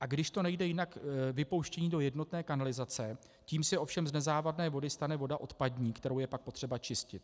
a když to nejde jinak, vypouštění do jednotné kanalizace, tím se ovšem z nezávadné vody stane voda odpadní, kterou je pak potřeba čistit.